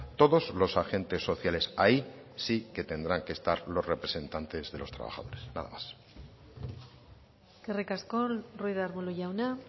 todos los agentes sociales ahí sí que tendrán que estar los representantes de los trabajadores nada más eskerrik asko ruiz de arbulo jauna